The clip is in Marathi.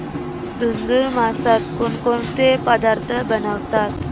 धुंधुर मासात कोणकोणते पदार्थ बनवतात